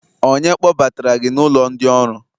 onye kpọbatara gi n'ulo ndi-oru?